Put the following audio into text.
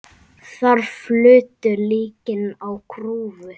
Þar flutu líkin á grúfu.